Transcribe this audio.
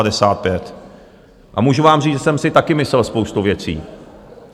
A můžu vám říct, že jsem si taky myslel spoustu věcí.